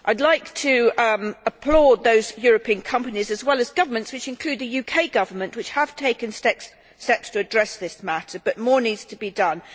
I would like to applaud those European companies as well as governments, which include the UK Government, which have taken steps to address this matter, but more needs to be done.